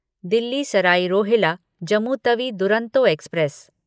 Delhi Sarai Rohilla Jammu Tawi Duronto express